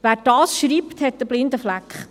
Wer dies schreibt, hat einen blinden Fleck.